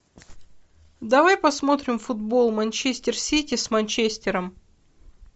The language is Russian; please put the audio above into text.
давай посмотрим футбол манчестер сити с манчестером